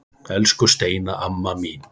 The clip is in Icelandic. Elsku Steina amma mín.